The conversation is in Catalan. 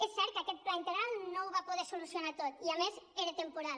és cert que aquest pla integral no ho va poder solucionar tot i a més era temporal